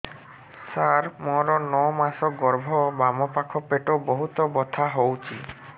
ସାର ମୋର ନଅ ମାସ ଗର୍ଭ ବାମପାଖ ପେଟ ବହୁତ ବଥା ହଉଚି